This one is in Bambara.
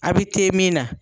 A' be min na